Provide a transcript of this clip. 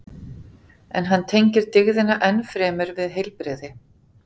En hann tengir dygðina enn fremur við heilbrigði.